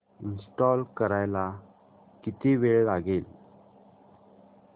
install करायला किती वेळ लागेल